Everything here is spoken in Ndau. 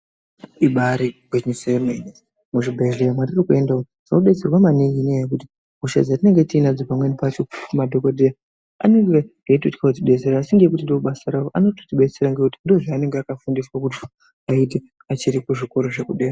Ibaari gwinyiso yemene. Muzvibhedhlera mwatiri kuenda umwu tinodetserwa maningi ngenyaya yekuti hosha dzatinenge tiinadzo pamweni pacho madhokodheya anonga eitotya kutidetsera, asi ngekuti ndobasa ravo anototidetsera ngekuti ndozvaanonga akafundiswa kuti aite achiri kuzvikora zvekudera.